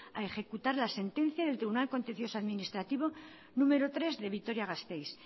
a ejecutar la sentencia del tribunal contencioso administrativo número tres de vitoria gasteiz